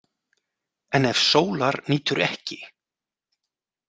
En ef sólar nýtur ekki.